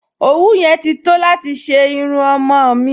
Òwú yẹn ti tó láti ṣe irun ọmọ-ọ̀n mi